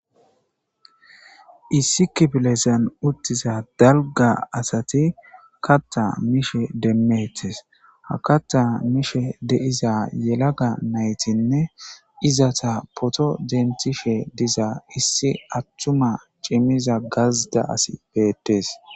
issi kifilezan uttiza dalga asati katta mishe demmetes ha katta mishe deiza yelaga naytinne izata poto dentishe diza issi attuma cimmiza gazda asi beettees